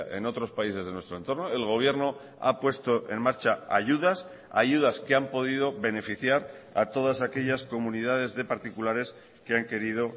en otros países de nuestro entorno el gobierno ha puesto en marcha ayudas ayudas que han podido beneficiar a todas aquellas comunidades de particulares que han querido